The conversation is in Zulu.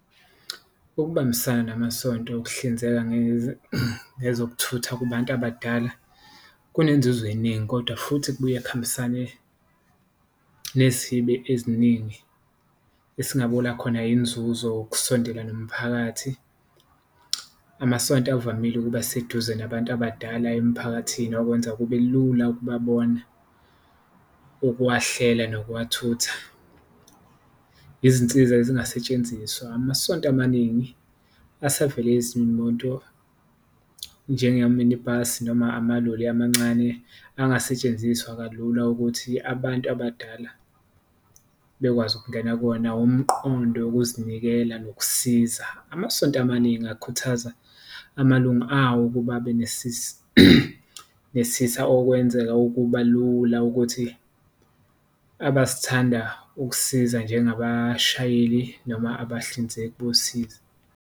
Ukubambisana namasonto, ukuhlinzeka ngezokuthutha kubantu abadala kunenzuzo eningi kodwa futhi kubuye kuhambisane nezihibe eziningi esingabola khona inzuzo, ukusondela nomphakathi. Amasonto avamile ukuba seduze nabantu abadala emphakathini okwenza kube lula ukubabona, ukuwahlela nokuwathutha, izinsiza ezingasetshenziswa amasonto amaningi asevele izimoto. Njenga-mini bus noma amaloli amancane angasetshenziswa kalula ukuthi abantu abadala bekwazi ukungena kuwona, umqondo wokuzinikela nokusiza. Amasonto amaningi akhuthaza amalunga awo ukuba okwenzeka ukuba lula ukuthi, abazithanda ukusiza nje ngabashayeli noma abahlinzeki bosizo.